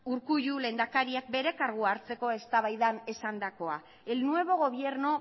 urkullu lehendakariak bere kargua hartzeko eztabaidan esandakoa el nuevo gobierno